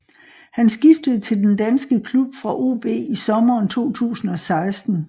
Han skiftede til den danske klub fra OB i sommeren 2016